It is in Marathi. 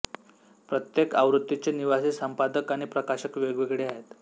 प्रत्येक आवृत्तीचे निवासी संपादक आणि प्रकाशक वेगवेगळे आहेत